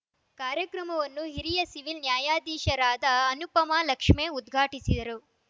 ಕಾರ್ಯಕ್ರಮವನ್ನು ಹಿರಿಯ ಸಿವಿಲ್‌ ನ್ಯಾಯಾಧೀಶರಾದ ಅನುಪಮ ಲಕ್ಷ್ಮೇ ಉದ್ಘಾಟಿಸಿದರು